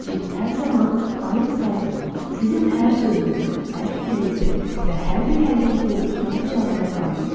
Cin hər zaman ayıq sayıq olan, sizin hər sözünüzü, hər fikrinizi və hər bir hərəkətinizi tutan cazibə qanunudur.